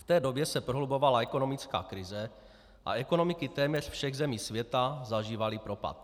V té době se prohlubovala ekonomická krize a ekonomiky téměř všech zemí světa zažívaly propad.